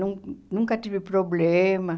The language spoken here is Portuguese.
Não nunca tive problema.